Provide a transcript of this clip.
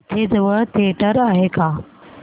इथे जवळ थिएटर आहे का